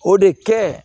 O de kɛ